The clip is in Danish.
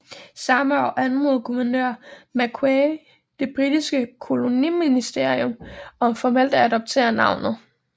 Samme år anmodede guvernør Macquarie det britiske koloniministerium om formelt at adoptere navnet